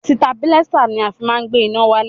Sitabilísà ni a fi má ń gbé iná wálẹ̀.